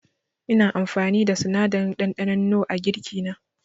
Ina amfani da sinadarin ɗanɗanon nor a girki na.